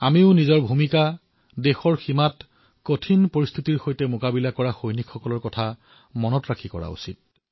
আমিও আমাৰ ভূমিকা দেশৰ সীমাত দুৰ্গম পৰিস্থিতিত যুঁজি থকা সৈন্যসকলক সোঁৱৰণ কৰি নিৰ্ধাৰণ কৰিব লাগিব